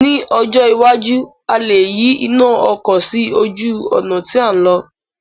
Ní ọjọ́ iwájú, a lè yí iná ọkọ̀ sí ojú ọ̀nà tí à ń lọ̀